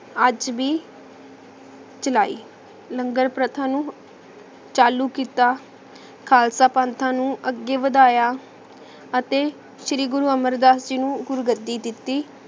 ਆਜ ਵੀ ਚਲਾਈ ਲੰਗਰ ਪ੍ਰਥਾ ਨੂ ਚਾਲੂ ਕੀਤਾ ਖਾਲਸਾ ਪੰਥਾਂ ਨੂ ਅਗੇ ਵਾਦਾਯਾ ਅਤੀ ਸ਼੍ਰੀ ਗੁਰੂ ਅਮਰਦਾਸ ਜੀ ਨੂ ਗੁਰੂ ਗਦੀ ਦਿਤੀ